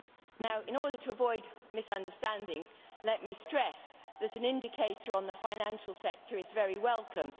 Now, in order to avoid misunderstandings, let me stress that an indicator on the financial sector is very welcome.